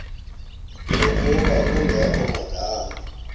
ngokuba kungekho magama